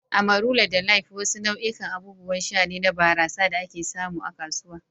"Amarula da Life" wasu nau'ikan abubuwan sha ne na barasa da ake samu a kasuwa.